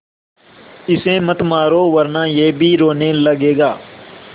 इसे मत मारो वरना यह भी रोने लगेगा